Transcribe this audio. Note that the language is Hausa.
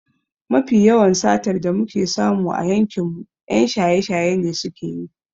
Mafi yawan satar da muke samu a yankinmu 'yan shaye-shaye ne suke yi.